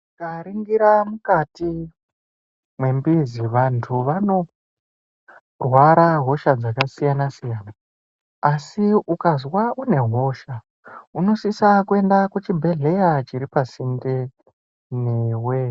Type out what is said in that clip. Tikaningira mukati mwembezi vantu vanorwara ngehosha dzakasiyana-siyana . Asi ukazwa une hosha unosisa kuenda kuchibhedhleya chiri pasinde newe.